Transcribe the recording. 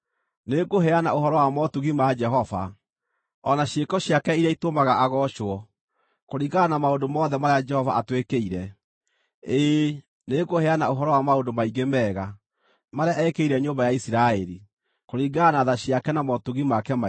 Nĩngũheana ũhoro wa motugi ma Jehova, o na ciĩko ciake iria itũmaga agoocwo, kũringana na maũndũ mothe marĩa Jehova atwĩkĩire: ĩĩ, nĩngũheana ũhoro wa maũndũ maingĩ mega marĩa eekĩire nyũmba ya Isiraeli, kũringana na tha ciake, na motugi make maingĩ.